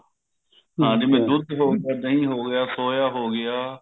ਹਾਂ ਜਿਵੇਂ ਦੁੱਧ ਹੋ ਗਿਆ ਦਹੀਂ ਹੋ ਗਿਆ soya ਹੋ ਗਿਆ